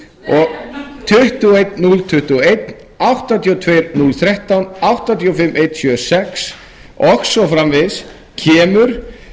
og einn núll tuttugu og einn áttatíu og tveir núll þrettán áttatíu og fimm einn sjö sex og svo framvegis kemur